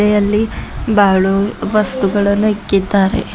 ಇದೆ ಅಲ್ಲಿ ಬಾಳು ವಸ್ತುಗಳನ್ನು ಇಕ್ಕಿದ್ದಾರೆ.